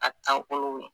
A taabolo